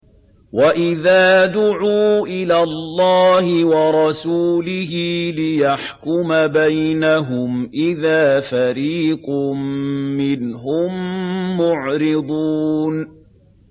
وَإِذَا دُعُوا إِلَى اللَّهِ وَرَسُولِهِ لِيَحْكُمَ بَيْنَهُمْ إِذَا فَرِيقٌ مِّنْهُم مُّعْرِضُونَ